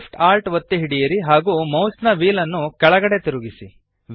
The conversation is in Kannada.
Shift Alt ಒತ್ತಿ ಹಿಡಿಯಿರಿ ಹಾಗೂ ಮೌಸ್ನ ವ್ಹೀಲ್ ನ್ನು ಕೆಳಗಡೆಗೆ ತಿರುಗಿಸಿ